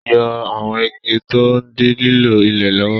Yọ àwọn igi tí ó ń dí lílo ilẹ̀ lọ́wọ́.